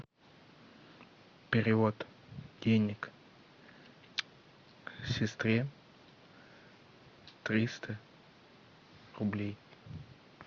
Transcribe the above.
перевод денег сестре триста рублей